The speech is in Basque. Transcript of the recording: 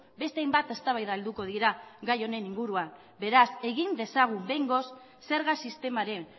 beste hainbat eztabaida helduko dira gai honen inguruan beraz egin dezagun behingoz zerga sistemaren